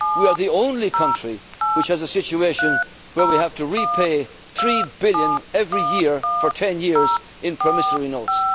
We are the only country which has a situation where we have to repay three billion every year for 10 years in promissory notes.